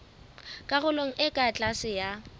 karolong e ka tlase ya